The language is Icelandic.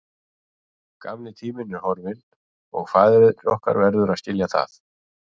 Gamli tíminn er horfinn og faðir okkar verður að skilja það.